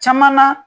Caman na